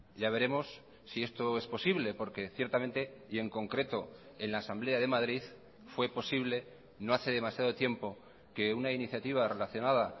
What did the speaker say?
ya veremos si esto es posible porque ciertamente y en concreto en la asamblea de madrid fue posible no hace demasiado tiempo que una iniciativa relacionada